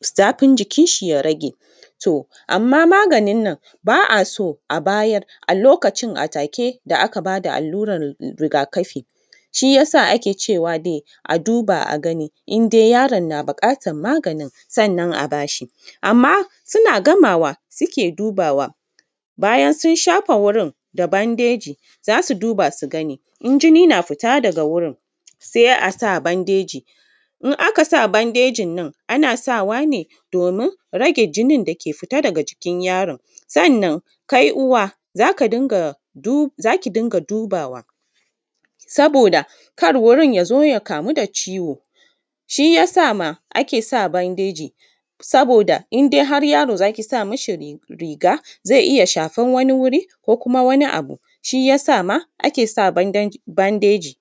zafi jikin shi ya rage to amma maganin nan ba a so a a bayar a lokacin a take da aka ba da aluran riga kafin, shi yasa ake cewa dai a duba a gani in dai yaron na buƙatan magani sannan a bashi, amma suna gama suke dubawa bayan sun shafa wurin da bandeji zasu duba su gani in jini na fata daga wurin sai a sa bandeji in aka sa bandejin nan ana sawa ne domin rage jinin dake fita daga jikin yaron sannan kai uwa zaka za ta rinƙa dubawa saboda kar wurinya zo ya kamu da ciwo, shi yasa ma ake sa bandeji saboda in dai har yaro zai sami shi riga zai iya shafan wani wuri ko kuma wani abu shi yasa ma ake sa bandeji